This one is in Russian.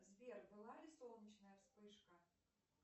сбер была ли солнечная вспышка